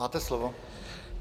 Máte slovo.